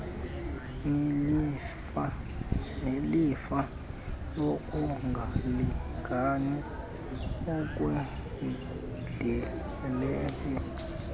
nelifa lokungalingani okwendeleyo